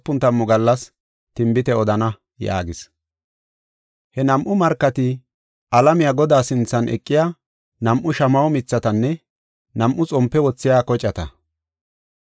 He nam7u markati alamiya Godaa sinthan eqiya nam7u shamaho mithatanne nam7u xompe wothiya kocata.